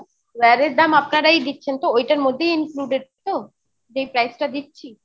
wire এর দাম আপনারই দিচ্ছেন তো ঐটার মধ্যেই included তো যেই price টা দিচ্ছি?